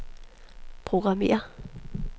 programmér